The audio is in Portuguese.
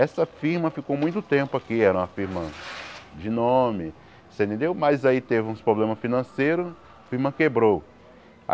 Essa firma ficou muito tempo aqui, era uma firma de nome você entendeu, mas aí teve uns problemas financeiros, a firma quebrou.